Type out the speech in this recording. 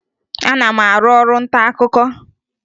Ana m arụ ọrụ ntaakụkọ